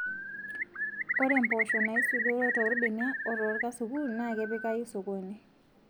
Ore mpoosho naisudoro toorbenia oo toorkasukun naa kepikayu sokoni